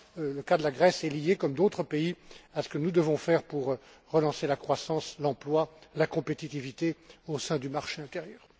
le cas de la Grèce est lié, comme d'autres pays, à ce que nous devons faire pour relancer la croissance, l'emploi et la compétitivité au sein du marché intérieur.